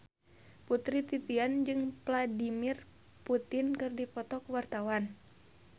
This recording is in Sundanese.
Putri Titian jeung Vladimir Putin keur dipoto ku wartawan